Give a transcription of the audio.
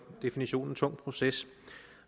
definitionen tung proces